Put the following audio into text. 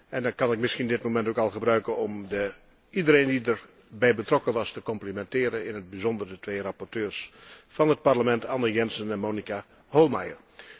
En dan kan ik misschien dit moment ook al gebruiken om iedereen die erbij betrokken was te complimenteren, in het bijzonder de twee rapporteurs van het Parlement, Anne Jensen en Monika Hohlmeier.